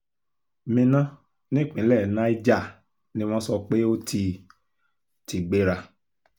minna nípínlẹ̀ niger ni wọ́n sọ pé ó ti ti gbéra